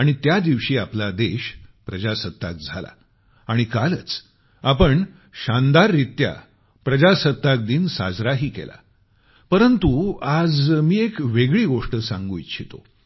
आणि त्या दिवशी आपला देश प्रजासत्ताक झाला आणि कालच आपण शानदाररित्या प्रजासत्ताक दिन साजराही केला परंतु आज मी एक वेगळी गोष्ट सांगू इच्छितो